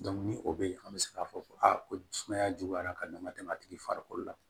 ni o bɛ yen an bɛ se k'a fɔ ko aa ko sumaya juguyara ka nn ka tɛmɛ a tigi farikolo la